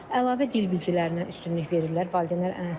Əlavə dil bilgilərinə üstünlük verirlər valideynlər ən əsas.